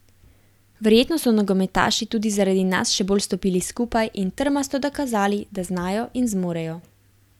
Verjetno so nogometaši tudi zaradi nas še bolj stopili skupaj in trmasto dokazali, da znajo in zmorejo.